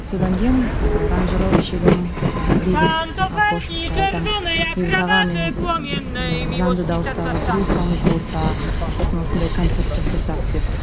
содан кейін аранжировщигім ыыы бейбіт акошевқа айтамын бейбіт аға мен ііі жанды дауыстағы группамыз болса сосын осындай концерт жасасақ деп